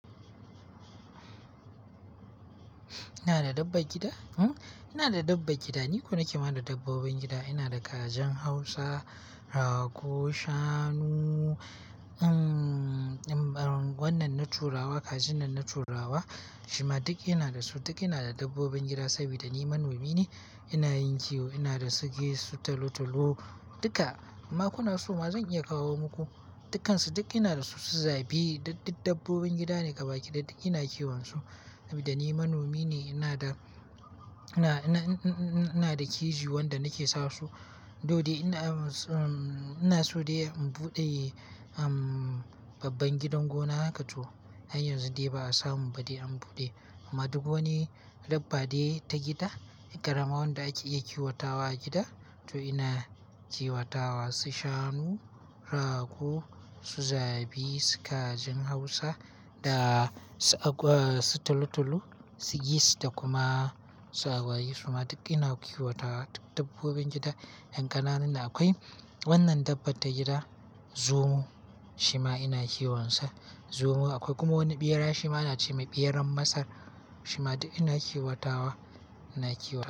Ina da dabbar gida? Hm. Ina da dabbar gida. Ni ko na ke ma da dabbobin gida. Ina da kajin Hausa, rago, shanu, um, um, wannan na turawa, kajin nan na turawa. Shima duk ina da su. Duk ina da dabbobin gida saboda ni manomi ne. Ina yin kiwo. Ina da su geese, su talo-talo duka. Inma kuna so ma zan iya kawo muku. Dukkansu duk ina da su, su zabi. Duk dabbobin gida ne gabaki ɗaya duk ina kiwon su. Sabolida ni manomi ne. Ina da, ina, ina, ina da keji wanda nake sa su. Though dai ina, um, ina so dai in buɗe, um, babban gidan gona haka to har yanzu dai ba a samu ba dai an buɗe. Amma duk wani dabba dai ta gida, ƙarama wanda ake iya kiwatawa a gida, to ina kiwatawa. Su shanu, rago, su zabi, su kajin Hausa da su agwa, su talo-talo, su geese da kuma su agwagi. Shima duk ina kiwatawa duk dabbobin gida. Ƴan ƙananan da akwai wannan dabbar ta gida, zomo shima ina kiwon sa zomo. Akwai kuma wani ɓera shima ana ce mai ɓeran Masar. Shima duk ina kiwatawa, ina kiwata.